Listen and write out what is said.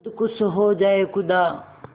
खुद खुश हो जाए खुदा